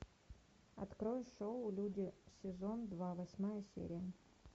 открой шоу люди сезон два восьмая серия